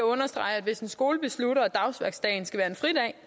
understrege at hvis en skole beslutter at dagsværksdagen skal være en fridag